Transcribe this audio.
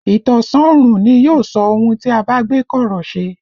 Ìtànṣán oòrùn ni yóò sọ ohun tí a bá gbé kọ̀rọ̀ ṣe